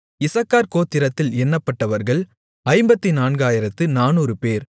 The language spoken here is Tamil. இசக்கார் கோத்திரத்தில் எண்ணப்பட்டவர்கள் 54400 பேர்